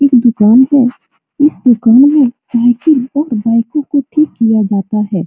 एक दुकान है | इस दुकान में साइकिल और बाइकों को ठीक किया जाता है।